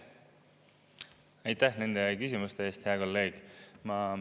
Aitäh nende küsimuste eest, hea kolleeg!